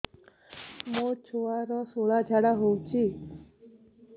ମୋ ଛୁଆର ସୁଳା ଝାଡ଼ା ହଉଚି